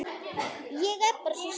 Ég er bara svo sár.